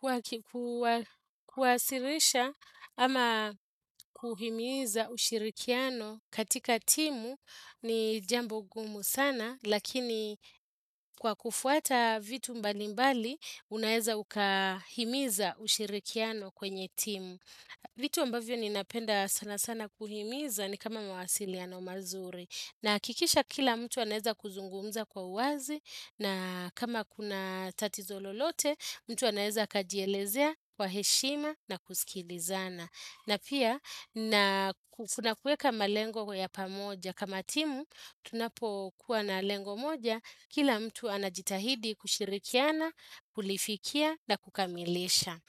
Kwa kuwasilisha ama kuhimiza ushirikiano katika timu ni jambo gumu sana lakini kwa kufuata vitu mbalimbali unaeza ukahimiza ushirikiano kwenye timu. Vitu ambavyo ninapenda sana sana kuhimiza ni kama mawasiliano mazuri. Nahakikisha kila mtu anaeza kuzungumza kwa uwazi na kama kuna tatizo lolote, mtu anaeza akajielezea kwa heshima na kusikilizana. Na pia, na kuna kuweka malengo ya pamoja. Kama timu, tunapo kuwa na lengo moja, kila mtu anajitahidi kushirikiana, kulifikia na kukamilisha.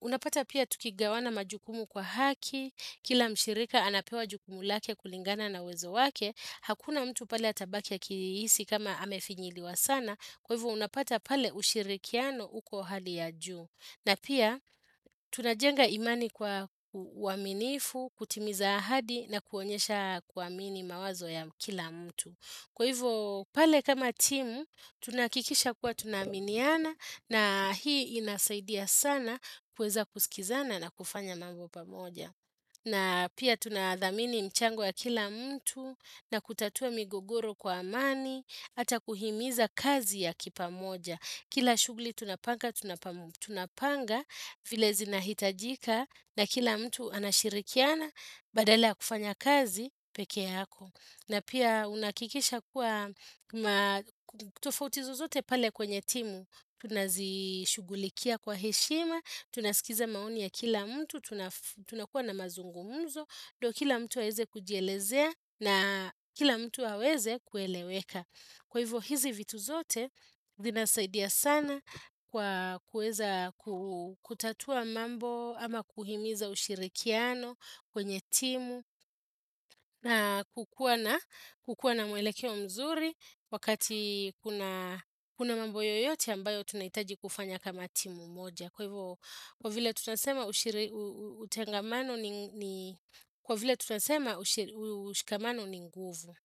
Unapata pia tukigawana majukumu kwa haki Kila mshirika anapewa jukumu lake kulingana na uwezo wake. Hakuna mtu pale atabaki akihisi kama amefinyiliwa sana Kwa hivyo unapata pale ushirikiano uko hali ya juu. Na pia tunajenga imani kwa uaminifu, kutimiza ahadi na kuonyesha kuamini mawazo ya kila mtu Kwa hivyo pale kama timu tunahakikisha kuwa tunaaminiana na hii inasaidia sana kuweza kusikizana na kufanya mambo pamoja. Na pia tunathamini mchango ya kila mtu na kutatua migogoro kwa amani, hata kuhimiza kazi ya kipamoja. Kila shughuli tunapanga, tunapanga, vile zinahitajika, na kila mtu anashirikiana, badala ya kufanya kazi, peke yako. Na pia unahakikisha kuwa, tofauti zozote pale kwenye timu, tunazishughulikia kwa heshima, tunasikiza maoni ya kila mtu, tunakuwa na mazungumuzo, ndo kila mtu aweze kujielezea na kila mtu aweze kueleweka. Kwa hivyo hizi vitu zote zinasaidia sana kwa kuweza kutatua mambo ama kuhimiza ushirikiano kwenye timu na kukuwa na mwelekeo mzuri wakati kuna mambo yoyote ambayo tunahitaji kufanya kama timu moja. Kwa hivyo kwa vile tunasema utengamano ni Kwa vile tunasema ushikamano ni nguvu.